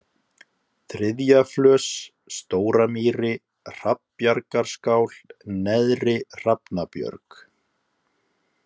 Þriðjaflös, Stóramýri, Hrafnabjargaskál, Neðri-Hrafnabjörg